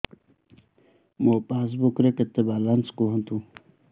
ମୋ ପାସବୁକ୍ ରେ କେତେ ବାଲାନ୍ସ କୁହନ୍ତୁ